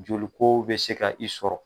Joli kow bɛ se ka i sɔrɔ.